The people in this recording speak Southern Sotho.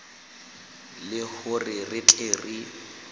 le hore re tle re